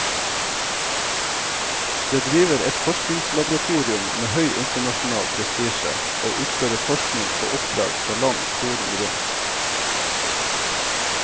Det driver et forskningslaboratorium med høy internasjonal prestisje, og utfører forskning på oppdrag fra land kloden rundt.